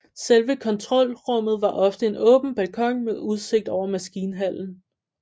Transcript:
Selve kontrolrummet var ofte en åben balkon med udsigt over maskinhallen